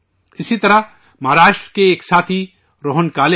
اسی طرح مہاراشٹر کے ایک ساتھی روہن کالے ہیں